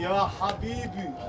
Ya həbibi!